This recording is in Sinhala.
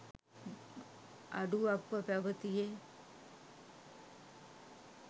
අඩුවක්ව පැවැතියේ